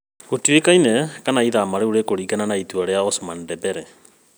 Gũtiũĩkaina kana ithamia rĩu rĩkũringana na itua rĩa Ousmane Dembele